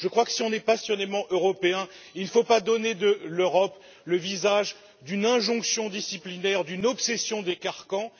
Je crois que si l'on est passionnément Européen, on ne doit pas donner à l'Europe le visage d'une injonction disciplinaire et d'une obsession des carcans.